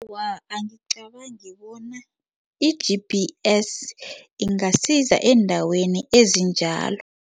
Awa, angicabangi bona i-G_P_S ingasiza eendaweni ezinjalo.